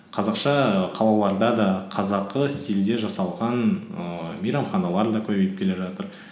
қазақша і қалаларда да қазақы стильде жасалған ііі мейрамханалар да көбейіп келе жатыр